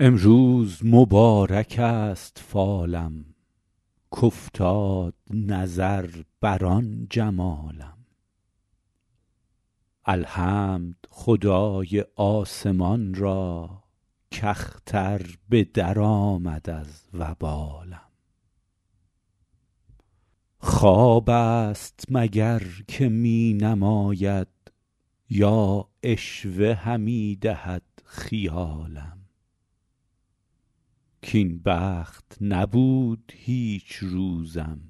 امروز مبارک است فالم کافتاد نظر بر آن جمالم الحمد خدای آسمان را کاختر به درآمد از وبالم خواب است مگر که می نماید یا عشوه همی دهد خیالم کاین بخت نبود هیچ روزم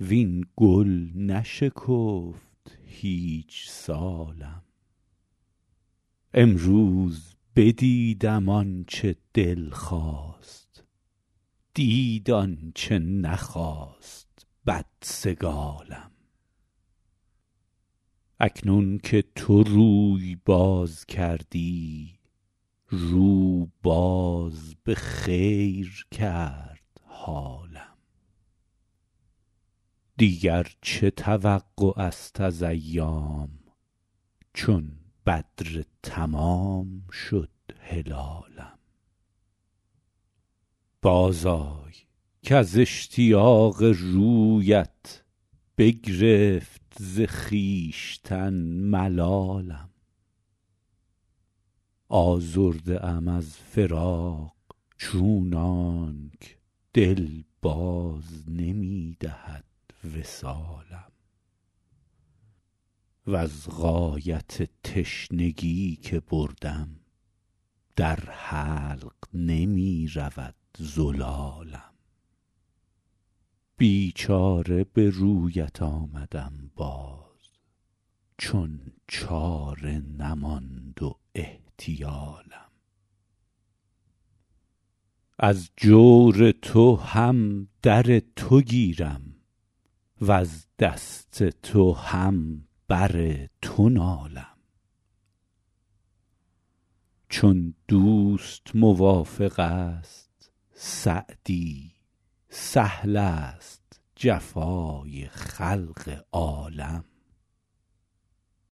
وین گل نشکفت هیچ سالم امروز بدیدم آن چه دل خواست دید آن چه نخواست بدسگالم اکنون که تو روی باز کردی رو باز به خیر کرد حالم دیگر چه توقع است از ایام چون بدر تمام شد هلالم بازآی کز اشتیاق رویت بگرفت ز خویشتن ملالم آزرده ام از فراق چونانک دل باز نمی دهد وصالم وز غایت تشنگی که بردم در حلق نمی رود زلالم بیچاره به رویت آمدم باز چون چاره نماند و احتیالم از جور تو هم در تو گیرم وز دست تو هم بر تو نالم چون دوست موافق است سعدی سهل است جفای خلق عالم